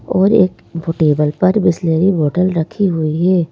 और एक ब टेबल पर बिसलेरी बोतल रखी हुई है।